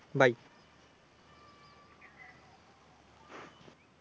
Bye.